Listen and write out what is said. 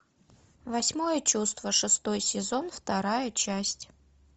восьмое чувство шестой сезон вторая часть